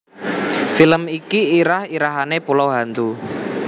Film iki irah irahane Pulau Hantu